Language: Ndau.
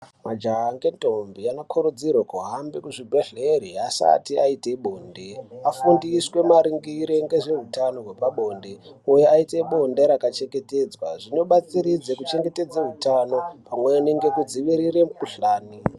Majaha nentombi anokurudzirwa kuhambe kuzvibhehleya asati aita bonde afundiswe maringe ngezveutano hwepabonde kuti aite bonde rakachengetedzwa. Zvinodetsera kuchengetedza hutano pamwe nekudzivirire mikhuhlane.